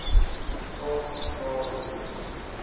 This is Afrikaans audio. saak verklaar hiermee